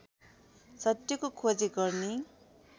सत्यको खोजी गर्ने